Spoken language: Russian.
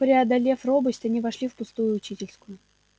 преодолев робость они вошли в пустую учительскую